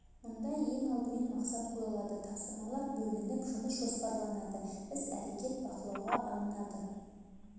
мұнда ең алдымен мақсат қойылады тапсырмалар бөлініп жұмыс жоспарланады іс-әрекет бақылауға алынады